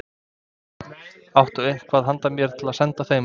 Áttu eitthvað handa mér til að senda þeim?